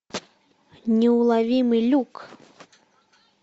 неуловимый люк